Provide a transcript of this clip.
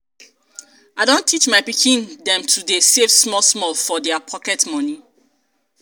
i don teach my pikin dem to dey save small small from their pocket moni.